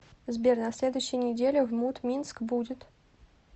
сбер на следующей неделе в мут минск будет